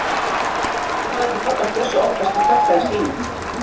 Svona lætur pabbi hans Bjössa oftast við krakka í síma.